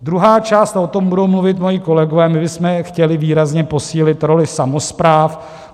Druhá část, a o tom budou mluvit moji kolegové: my bychom chtěli výrazně posílit roli samospráv.